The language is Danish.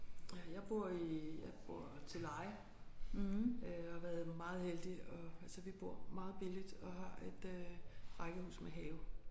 Ja jeg bor i jeg bor til leje og hvad hedder det var meget heldig altså vi bor meget billigt og har et øh rækkehus med have